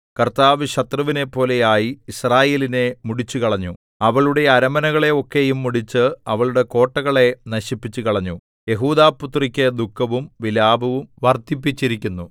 കർത്താവ് ശത്രുവിനെപ്പോലെ ആയി യിസ്രായേലിനെ മുടിച്ചുകളഞ്ഞു അവളുടെ അരമനകളെ ഒക്കെയും മുടിച്ച് അവളുടെ കോട്ടകളെ നശിപ്പിച്ചുകളഞ്ഞു യെഹൂദാപുത്രിക്ക് ദുഃഖവും വിലാപവും വർദ്ധിപ്പിച്ചിരിക്കുന്നു